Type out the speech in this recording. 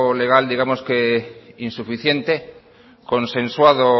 legal digamos que insuficiente consensuado